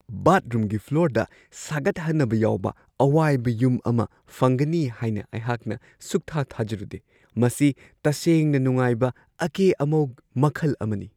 ꯕꯥꯊꯔꯨꯝꯒꯤ ꯐ꯭ꯂꯣꯔꯗ ꯁꯥꯒꯠꯍꯟꯅꯕ ꯌꯥꯎꯕ ꯑꯋꯥꯏꯕ ꯌꯨꯝ ꯑꯃ ꯐꯪꯒꯅꯤ ꯍꯥꯏꯅ ꯑꯩꯍꯥꯛꯅ ꯁꯨꯛꯊꯥ-ꯊꯥꯖꯔꯨꯗꯦ-ꯃꯁꯤ ꯇꯁꯦꯡꯅ ꯅꯨꯡꯉꯥꯏꯕ ꯑꯀꯦ-ꯑꯃꯧ ꯃꯈꯜ ꯑꯃꯅꯤ!